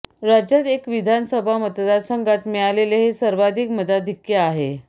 राज्यात एका विधान सभा मतदार संघात मिळालेले हे सर्वाधिक मताधिक्य आहे